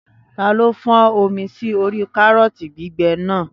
Taló fọ́n omi sí orí kárọ̀tì gbígbẹ náà?